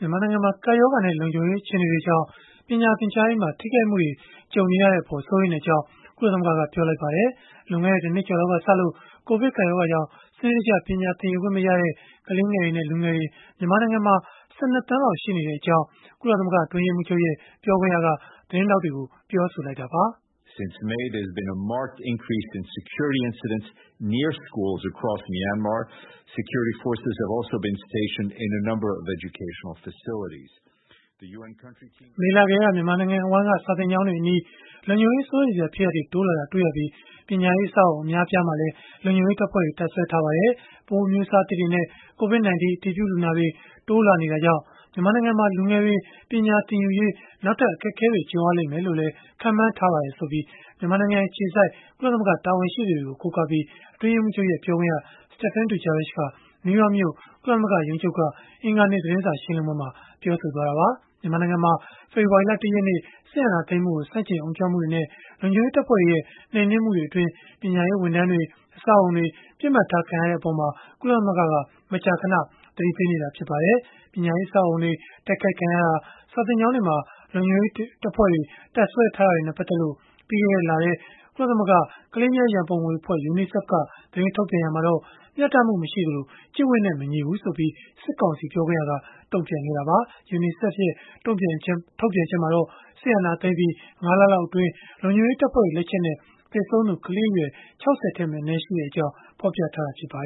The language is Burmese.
မြန်မာနိုင်ငံမှာ ကပ်ရောဂါနဲ့ လုံခြုံရေး အခြေအနေတွေကြောင့် ပညာသင်ကြားရေးမှာ ထိခိုက်မှုတွေ ကြုံနေရတဲ့အပေါ် စိုးရိမ်ကြောင်း ကုလသမဂ္ဂက ပြောလိုက်ပါတယ်။ လွန်ခဲ့တဲ့ ၁ နှစ်ကျော်လောက်ကစလို့ ကိုဗစ်ကပ်ရောဂါကြောင့် စနစ်တကျ ပညာသင်ယူခွင့်မရတဲ့ ကလေးငယ်တွေနဲ့ လူငယ်တွေ မြန်မာနိုင်ငံမှာ ၁၂ သန်းလောက် ရှိနေတဲ့အကြောင်း ကုလသမဂ္ဂ အတွင်းရေးမှူးချုပ်ရဲ့ ပြောခွင့်ရက သတင်းထောက်တွေကို ပြောလိုက်တာပါ။ “မေလကတည်းက မြန်မာနိုင်ငံတဝန်းက စာသင်ကျောင်းတွေအနီး လုံခြုံရေး စိုးရိမ်စရာ ဖြစ်ရပ်တွေ တိုးလာတာ တွေ့ရပြီး ပညာရေးအဆောက်အအုံ အများအပြားမှာလည်း လုံခြုံရေးတပ်ဖွဲ့တွေ တပ်စွဲထားပါတယ်။ ပိုးအမျိုးအစားသစ်တွေနဲ့ COVID-19 အတည်ပြုလူနာတွေ တိုးလာနေတာကြောင့် မြန်မာနိုင်ငံမှာ လူငယ်တွေ ပညာသင်ယူရေး နောက်ထပ် အခက်အခဲတွေ ကြုံရလိမ့်မယ်လို့လည်း ခန့်မှန်းထားပါတယ်။” လို့ မြန်မာနိုင်ငံအခြေစိုက် ကုလသမဂ္ဂ တာဝန်ရှိသူတွေကို ကိုးကားပြီး အတွင်းရေးမှူးချုပ်ရဲ့ ပြောခွင့်ရ Stéphane Dujarric က နယူးယောက်မြို့ ကုလသမဂ္ဂရုံးချုပ်က အင်္ဂါနေ့ သတင်းစာရှင်းလင်းပွဲမှာ ပြောဆိုလိုက်တာပါ။ မြန်မာနိုင်ငံမှာ ဖေဖော်ဝါရီလ ၁ ရက်နေ့ စစ်တပ်က အာဏာသိမ်းလိုက်တာကို ဆန့်ကျင် အုံကြွမှုတွေနဲ့ လုံခြုံရေးတပ်ဖွဲ့တွေရဲ့ နှိမ်နင်းမှုတွေအတွင်း ပညာရေးဝန်ထမ်းတွေ၊ အဆောက်အအုံတွေ ပစ်မှတ်ထားခံရတဲ့အပေါ်မှာ ကုလသမဂ္ဂက မကြာခဏ သတိပေးနေတာ ဖြစ်ပါတယ်။ ပညာရေး အဆောက်အအုံတွေ တိုက်ခိုက်ခံရတာ၊ စာသင်ကျောင်းတွေမှာ လုံခြုံရေးတပ်ဖွဲ့တွေ တပ်စွဲထားတာတွေနဲ့ ပတ်သက်လို့ ပြီးခဲ့တဲ့လထဲ ကုလသမဂ္ဂ ကလေးများရန်ပုံငွေအဖွဲ့ (UNICEF) က သတင်းထုတ်ပြန်ခဲ့ရာမှာတော့ မျှတမှုမရှိသလို ကျင့်ဝတ်နဲ့မညီဘူးဆိုပြီး စစ်ကောင်စီ ပြောခွင့်ရက တုံ့ပြန်ခဲ့တာပါ။ UNICEF ရဲ့ ထုတ်ပြန်ချက်မှာတော့ စစ်အာဏာသိမ်းပြီး ၅ လလောက်အတွင်း လုံခြုံရေးတပ်ဖွဲ့တွေ လက်ချက်နဲ့ သေဆုံးသူ ကလေးအရွယ် ၆၀ ထက်မနည်းရှိကြောင်း ဖော်ပြခဲ့တာ ဖြစ်ပါ